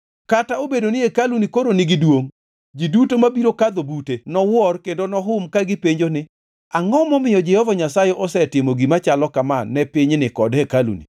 Kata obedo ni hekaluni koro nigi duongʼ, ji duto mabiro kadho bute nowuor kendo nohum ka gipenjo ni, ‘Angʼo momiyo Jehova Nyasaye osetimo gima chalo kama ni pinyni kod hekaluni?’